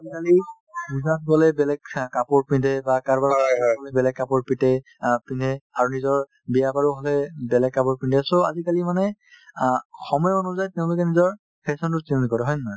আজিকালি পূজাত গ'লে বেলেগ কাপোৰ পিন্ধে বা কাৰোবাৰ ঘৰত গ'লে বেলেগ কাপোৰ পিতে~ অ পিন্ধে আৰু নিজৰ বিয়া বাৰু হ'লে বেলেগ কাপোৰ পিন্ধে so আজিকালি মানে অ সময় অনুযায়ী তেওঁলোকে নিজৰ fashion তো change কৰে হয় নে নহয়